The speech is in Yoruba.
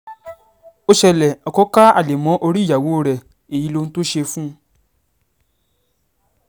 ó ṣẹlẹ̀ ọkọ ka alẹ́ mọ́ orí ìyàwó rẹ̀ èyí lohun tó ṣe fún un